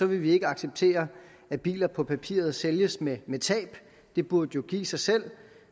vi ikke acceptere at biler på papiret sælges med med tab det burde jo give sig selv